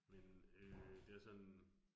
Men øh det er sådan